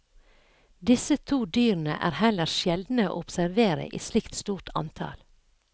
Disse to dyrene er heller sjeldne å observere i slikt stort antall.